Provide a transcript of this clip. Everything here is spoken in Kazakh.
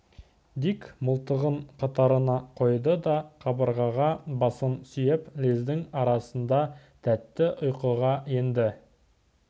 дик мылтығын қатарына қойды да қабырғаға басын сүйеп лездің арасында тәтті ұйқыға енді